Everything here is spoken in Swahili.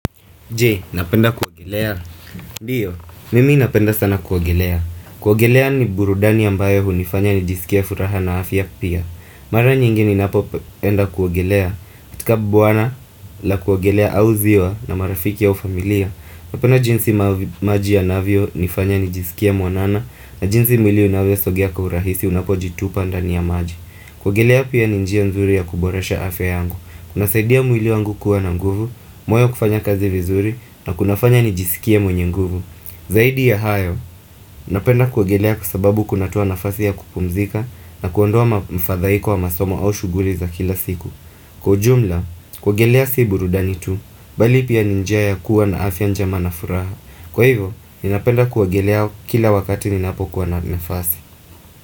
Je, unapenda kuogelea Ndio, mimi napenda sana kuogelea kuogelea ni burudani ambayo hunifanya nijisikie furaha na afya pia Mara nyingi ninapo enda kuogelea katika bwawa la kuogelea au ziwa na marafiki wa familia Napenda jinsi maji yanavyo nifanya nijisikie mwanana na jinsi mwili unavyo sogea kwa urahisi unapo jitupa ndani ya maji kuogelea pia ni njia nzuri ya kuboresha afya yangu Kuna saidia mwili wangu kuwa na nguvu moyo kufanya kazi vizuri na kunafanya nijisikie mwenye nguvu Zaidi ya hayo, napenda kuogelea kwasababu kunatoa nafasi ya kupumzika na kuondoa mfadhaiko wa masomo au shuguli za kila siku Kwa ujumla, kuogelea si burudani tu Bali pia ni njia ya kuwa na afya njema na furaha Kwa hivyo, ninapenda kuogelea kila wakati ninapokuwa na nafasi.